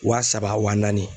Wa saba wa naani